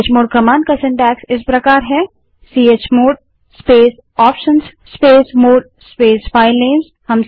chmod command का रचनाक्रमसीनटैक्स इस प्रकार है chmod space options space mode space filename space chmod space options space filename